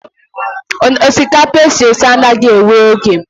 Osikapa esi esi anaghị ewe oge.